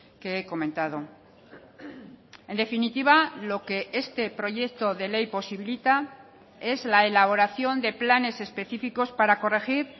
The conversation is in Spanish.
que he comentado en definitiva lo que este proyecto de ley posibilita es la elaboración de planes específicos para corregir